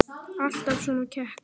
Alltaf svona kekk?